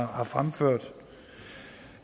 har fremført